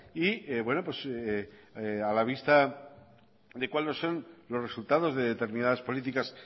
y bueno pues a la vista de cuáles son los resultados de determinadas políticas